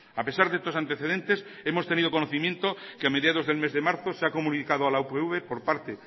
a pesar de estos antecedentes hemos tenido conocimiento que a mediados del mes de marzo se ha comunicado a la upv por parte